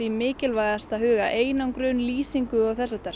mikilvægast að huga að einangrun og lýsingu